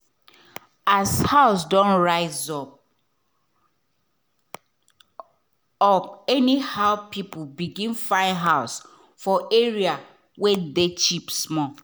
as house don rise up up anyhow people begin find house for area wey cheap small.